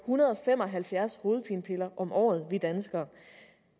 hundrede og fem og halvfjerds hovedpinepiller om året